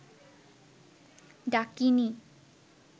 ডাকিণী